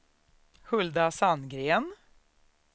Hulda Sandgren